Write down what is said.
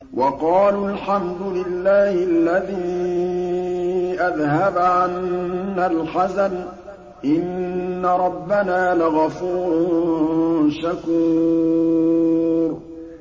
وَقَالُوا الْحَمْدُ لِلَّهِ الَّذِي أَذْهَبَ عَنَّا الْحَزَنَ ۖ إِنَّ رَبَّنَا لَغَفُورٌ شَكُورٌ